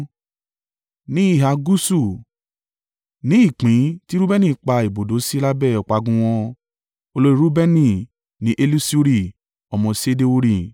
Ní ìhà gúúsù: ni ìpín ti Reubeni pa ibùdó sí lábẹ́ ọ̀págun wọn. Olórí Reubeni ni Elisuri ọmọ Ṣedeuri.